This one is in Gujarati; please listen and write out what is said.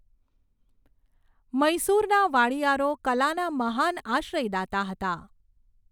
મૈસૂરના વાડીયારો કલાના મહાન આશ્રયદાતા હતા.